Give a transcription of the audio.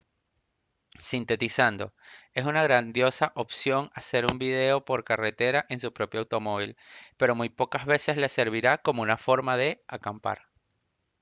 sintetizando es una grandiosa opción hacer un viaje por carretera en su propio automóvil pero muy pocas veces le servirá como una forma de «acampar»